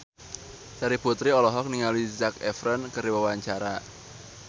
Terry Putri olohok ningali Zac Efron keur diwawancara